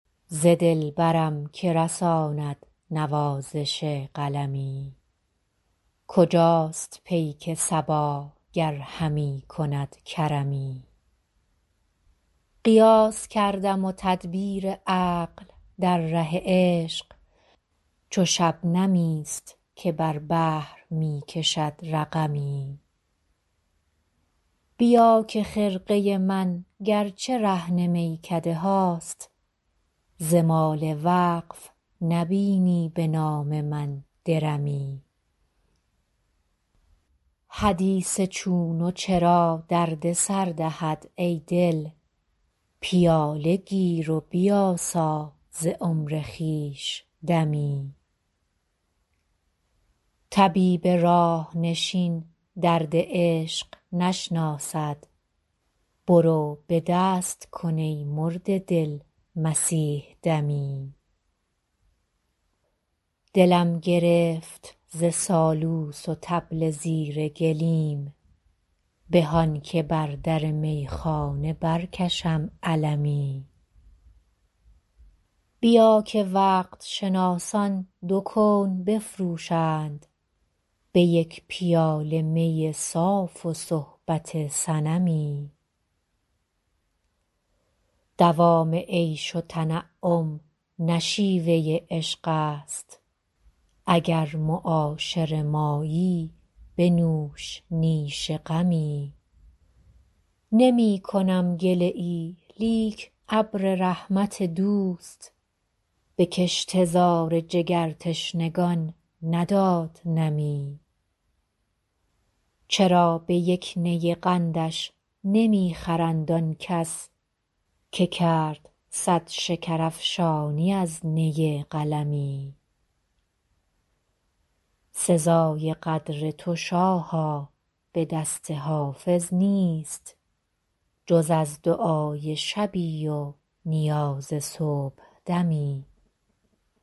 ز دلبرم که رساند نوازش قلمی کجاست پیک صبا گر همی کند کرمی قیاس کردم و تدبیر عقل در ره عشق چو شبنمی است که بر بحر می کشد رقمی بیا که خرقه من گر چه رهن میکده هاست ز مال وقف نبینی به نام من درمی حدیث چون و چرا درد سر دهد ای دل پیاله گیر و بیاسا ز عمر خویش دمی طبیب راه نشین درد عشق نشناسد برو به دست کن ای مرده دل مسیح دمی دلم گرفت ز سالوس و طبل زیر گلیم به آن که بر در میخانه برکشم علمی بیا که وقت شناسان دو کون بفروشند به یک پیاله می صاف و صحبت صنمی دوام عیش و تنعم نه شیوه عشق است اگر معاشر مایی بنوش نیش غمی نمی کنم گله ای لیک ابر رحمت دوست به کشته زار جگرتشنگان نداد نمی چرا به یک نی قندش نمی خرند آن کس که کرد صد شکرافشانی از نی قلمی سزای قدر تو شاها به دست حافظ نیست جز از دعای شبی و نیاز صبحدمی